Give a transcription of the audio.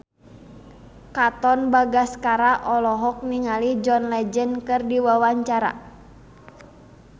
Katon Bagaskara olohok ningali John Legend keur diwawancara